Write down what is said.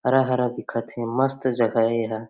हरा - हरा दिखत हे मस्त जगह हे एहा --